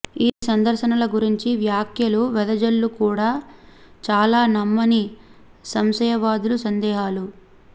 ఈ సందర్శనల గురించి వ్యాఖ్యలు వెదజల్లు కూడా చాలా నమ్మని సంశయవాదులు సందేహాలు